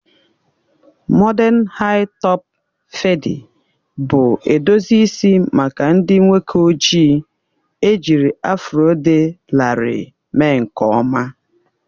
Mọden haị-topụ fedi bụ edozi isi maka ndị nwoke ojii, ejiri afro dị larịị mee nke ọma